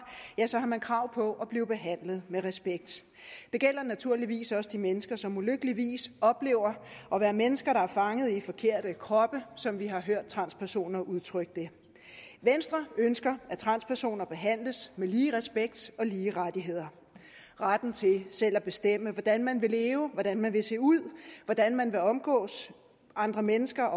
man krav på at blive behandlet med respekt det gælder naturligvis også de mennesker som ulykkeligvis oplever at være mennesker der er fanget i forkerte kroppe som vi har hørt transpersoner udtrykke det venstre ønsker at transpersoner behandles med lige respekt og lige rettigheder retten til selv at bestemme hvordan man vil leve hvordan man vil se ud hvordan man omgås andre mennesker